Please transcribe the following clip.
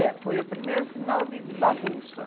É, foi o primeiro sinal de, de bagunça.